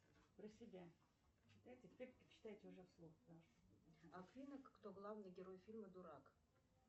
афина кто главный герой фильма дурак